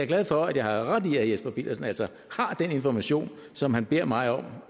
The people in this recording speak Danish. glad for at jeg har ret i at herre jesper petersen altså har den information som han beder mig om